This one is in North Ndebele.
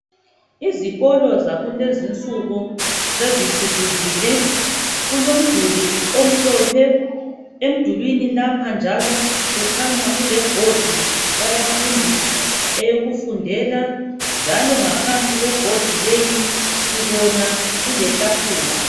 Izikolo zakulezinsuku sezithuthukile kulomduli omhlophe, emdulini lapha njalo kukhanya kulebhodi yabafundi eyokufundela njalo ngaphansi kwebhodi leyi sibona kuletafula.